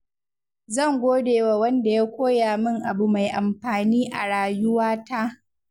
Zan gode wa wanda ya koya min abu mai amfani a rayuwata.